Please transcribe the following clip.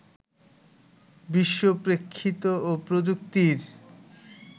বিশ্বপ্রেক্ষিত ও প্রযুক্তির